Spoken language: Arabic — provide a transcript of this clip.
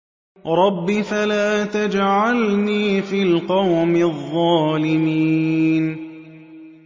رَبِّ فَلَا تَجْعَلْنِي فِي الْقَوْمِ الظَّالِمِينَ